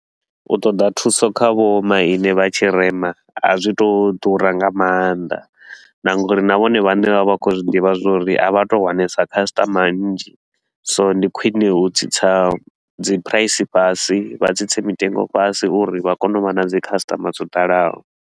U ṱoḓa thuso kha vho maine vha tshirema a zwi tou ḓura nga maanḓa na nga uri na vhone vhane vha vha khou zwiḓivha zwa uri a vha tou wanesa khasitama nnzhi, so ndi khwine hu tsitsa dzi price fhasi vha dzi tsitse mitengo fhasi uri vha kone u vha na dzi khasiṱama dzo ḓalaho.